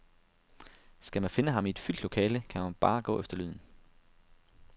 Skal man finde ham i et fyldt lokale, kan man bare gå efter lyden.